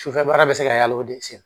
Sufɛ baara bɛ se ka hali sen